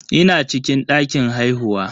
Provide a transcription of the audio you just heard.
Ina cikin dakin haihuwa.